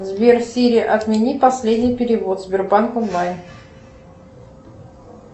сбер сири отмени последний перевод сбербанк онлайн